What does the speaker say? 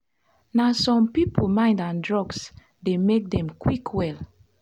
na some people mind and drugs dey make them quick well.